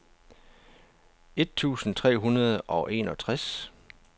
et tusind tre hundrede og enogtres